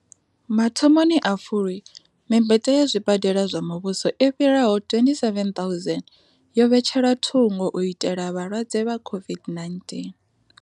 Mathomoni a Fulwi, mimbete ya zwibadela zwa muvhuso i fhiraho 27 000 yo vhetshelwa thungo u itela vhalwadze vha COVID-19.